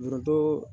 Foronto